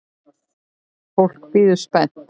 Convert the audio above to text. Fólk bíður spennt.